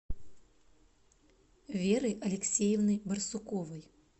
веры алексеевны барсуковой